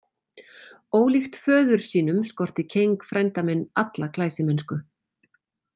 Ólíkt föður sínum skorti Keng frænda minn alla glæsimennsku.